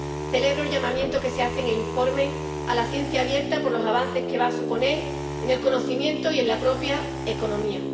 Celebro el llamamiento que se hace en el informe a la ciencia abierta, por los avances que va a suponer en el conocimiento y en la propia economía.